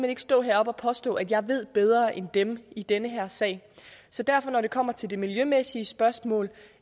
ikke stå heroppe og påstå at jeg ved bedre end dem i den her sag så derfor når det kommer til det miljømæssige spørgsmål